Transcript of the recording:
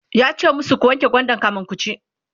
yace masu "ku wanke gwandan kamin kuci!"